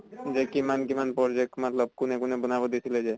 যে কিমান কিমান পৰ্জেক্ত মাত্লব কোনে কোনে বনাব দিছিলে যে